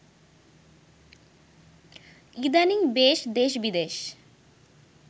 ইদানিং বেশ দেশবিদেশ